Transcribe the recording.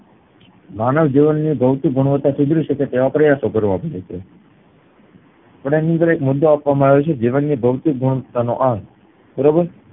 માનવ જીવનની ભૌતિક ગુણવત્તા સુધરી શકે તેવા પ્રયાશો કરવા પડે છે પણ એની અંદર એક મુદ્દો આપવામાં આવ્યો છે જીવનની ભૌતિક નો અર્થ બરોબર